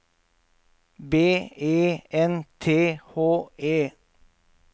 B E N T H E